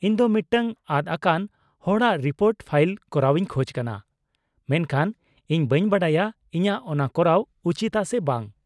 -ᱤᱧ ᱫᱚ ᱢᱤᱫᱴᱟᱝ ᱟᱫᱽ ᱟᱠᱟᱱ ᱦᱚᱲᱟᱜ ᱨᱤᱯᱳᱨᱴ ᱯᱷᱟᱭᱤᱞ ᱠᱚᱨᱟᱣ ᱤᱧ ᱠᱷᱚᱡ ᱠᱟᱱᱟ, ᱢᱮᱱᱠᱷᱟᱱ ᱤᱧ ᱵᱟᱹᱧ ᱵᱟᱰᱟᱭᱟ ᱤᱧᱟᱹᱜ ᱚᱱᱟ ᱠᱚᱨᱟᱣ ᱩᱪᱤᱛᱟ ᱥᱮ ᱵᱟᱝ ᱾